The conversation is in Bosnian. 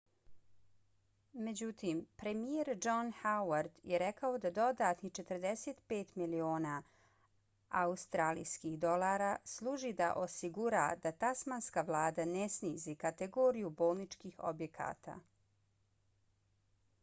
međutim premijer john howard je rekao da dodatnih 45 miliona aud$ služi da osigura da tasmanska vlada ne snizi kategoriju bolničkih objekata